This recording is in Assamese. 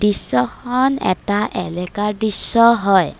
দৃশ্যখন এটা এলেকাৰ দৃশ্য হয়।